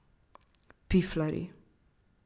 Piflarji.